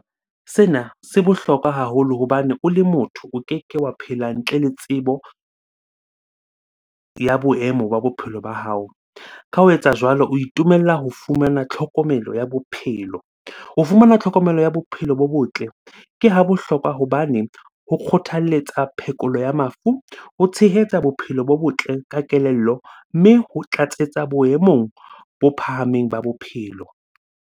Sena se bohlokwa haholo hobane o le motho o keke wa phela ntle le tsebo ya boemo ba bophelo ba hao. Ka ho etsa jwalo, o itumella ho fumana tlhokomelo ya bophelo. Ho fumana tlhokomelo ya bophelo bo botle ke ha bohlokwa hobane ho kgothaletsa phekolo ya mafu, ho tshehetsa bophelo bo botle ka kelello, mme ho tlatsetsa boemong bo phahameng ba bophelo.